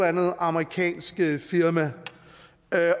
andet amerikansk firma